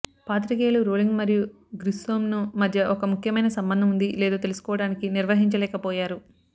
పాత్రికేయులు రోలింగ్ మరియు గ్రిస్సోంను మధ్య ఒక ముఖ్యమైన సంబంధం ఉంది లేదో తెలుసుకోవడానికి నిర్వహించలేకపోయారు